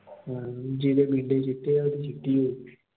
ਜਿਹਦੇ ਚਿੱਟੇ ਐ ਉਹਦੀ ਚਿੱਟੀ ਹੋਉ।